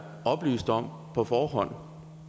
oplyst om på forhånd